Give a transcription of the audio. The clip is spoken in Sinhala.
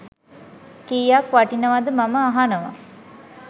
කීයක් වටිනවද මම අහනව.